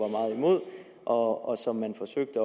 meget imod og som man forsøger at